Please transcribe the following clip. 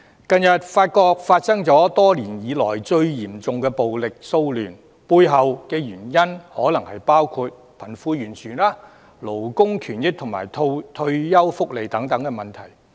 近日法國發生多年來最嚴重的暴力騷亂，背後原因可能包括貧富懸殊、勞工權益及退休福利等問題。